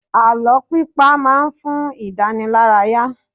Àlọ́ pípa má ń fún idanilaraya